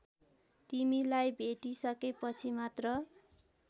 तिमीलाई भेटिसकेपछि मात्र